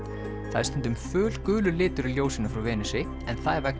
það er stundum litur í ljósinu frá Venusi en það er vegna